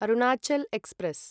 Arunachal express